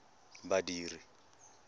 badiri